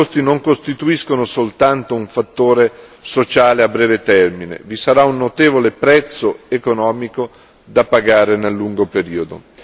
Tali costi non costituiscono soltanto un fattore sociale a breve termine, vi sarà un notevole prezzo economico da pagare nel lungo periodo.